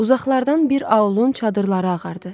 Uzaqlardan bir aulun çadırları ağardı.